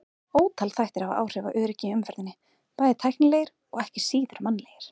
Ótal þættir hafa áhrif á öryggi í umferðinni, bæði tæknilegir og ekki síður mannlegir.